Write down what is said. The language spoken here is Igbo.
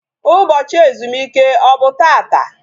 Ụbọchị ezumike ọ bụ taata?